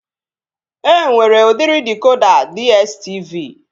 E nwere udiri dịkoda DSTV